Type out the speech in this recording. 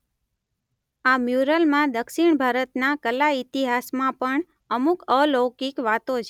આ મ્યુરલમાં દક્ષિણ ભારતના કલા ઇતિહાસમાં પણ અમુક અલૌકિક વાતો છે.